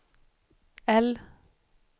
L